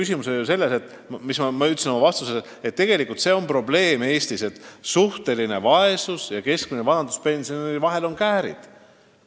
Ma ütlesin oma vastuses, et Eestis on suur probleem see, et suhtelise vaesuse määra ja keskmise vanaduspensioni vahel on käärid.